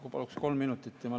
Ma palun kohe kolm minutit juurde.